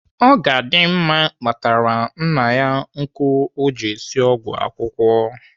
Ogadimma kpatara nna nkụ o ji esi ọgwụ akwụkwụ.